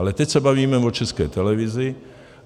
Ale teď se bavíme o České televizi.